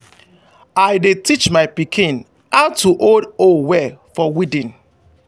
i dey teach my pikin how to hold hoe well for weeding.